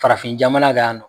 Farafin jamana kan yan nɔn.